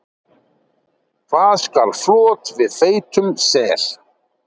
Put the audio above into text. Hvað skal flot við feitum sel?